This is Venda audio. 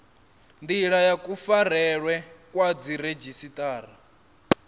ndila ya kufarelwe kwa dziredzhisiṱara